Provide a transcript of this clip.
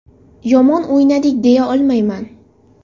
Yomon o‘ynadik deya olmayman.